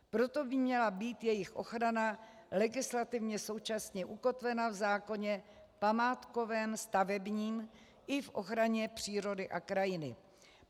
Proto by měla být jejich ochrana legislativně současně ukotvena v zákoně památkovém, stavebním i v ochraně přírody a krajiny.